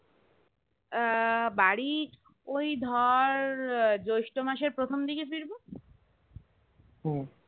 আহ বাড়ি ওই ধর জ্যৈষ্ঠ মাসের প্রথম দিকে ফিরবো